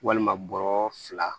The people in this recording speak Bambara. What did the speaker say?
Walima bɔrɔ fila